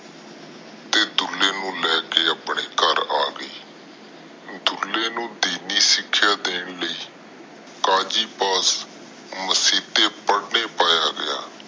ਤੇ ਦੁਲਕੇ ਨੂੰ ਲੈ ਕੇ ਆਪਣੇ ਘਰ ਆ ਗਯੀ ਦੁਲੇ ਨੂੰ ਦੇਣੇ ਸਿਖਿਆ ਦੇਣ ਲਾਇ ਕਾਜੀ ਪਾਸ ਮਾਸਿਦੇ ਪ੍ਰਦਾਨ ਪਾਯਾ ਗਿਆ